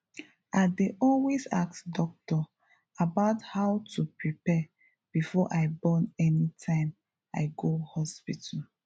i dey always ask doctor about how to prepare before i born anytime i go hospital